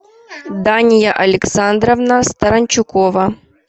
дания александровна старанчукова